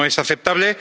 Eso no es aceptable.